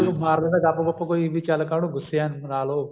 ਚਲੋ ਮਾਰ ਦਿੰਦਾ ਗੱਪ ਗੁੱਪ ਕੋਈ ਵੀ ਚੱਲ ਕਾਹਨੂੰ ਗੁੱਸੇ ਏ ਮਣਾ ਲਓ